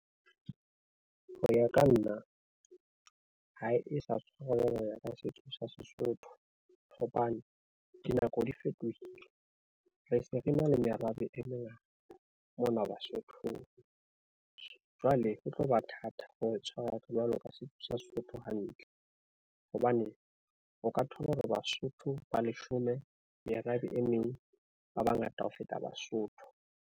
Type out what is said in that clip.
Ho ya ka nna ha e sa ka setso sa Sesotho, hobane dinako di fetohile, re se re na le merabe e mengata mona Basothong. Jwale ho tlo ba thata hore tshwarang jwalo ka setso sa Sesotho hantle hobane o ka thola hore Basotho ba leshome merabe e meng ba bangata ho feta Basotho.